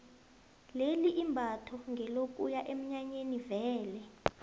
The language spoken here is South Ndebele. leli imbatho ngelokuya eminyanyeni vele